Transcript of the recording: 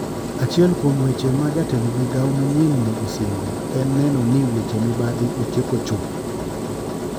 Achuiel kuom weche ma jatend migao manyien no osingo en neno ni weche mibadhi otieko chuth.